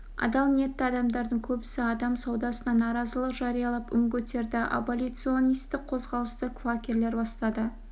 адал ниетті адамдардың көбісі адам саудасына наразылық жариялап үн көтерді аболиционистік қозғалысты квакерлер бастады